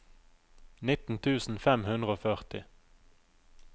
nitten tusen fem hundre og førti